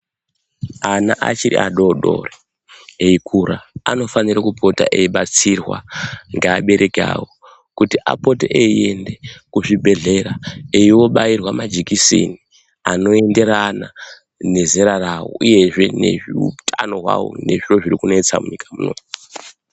Ana achiri adoodori eikura anofanire kupota eibatsirwa ngeabereki avo kuti apote eienda kuchibhedhlera einobairwa majekiseni anoenderana nezera ravo. Uyezve nezveutano hwavo nezviro zvirikunetsa munyika muno